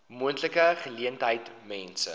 moontlike geleentheid mense